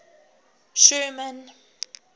sherman